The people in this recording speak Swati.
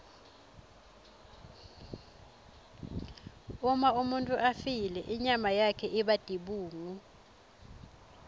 uma umuntfu afile inyama yakhe iba tibungu